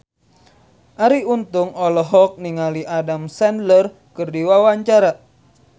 Arie Untung olohok ningali Adam Sandler keur diwawancara